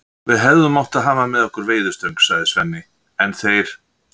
Við hefðum átt að hafa með okkur veiðistöng, sagði Svenni, en þeir